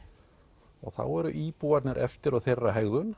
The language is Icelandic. og þá eru íbúarnir eftir og þeirra